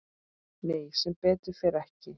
Nei sem betur fer ekki.